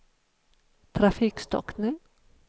trafikstockning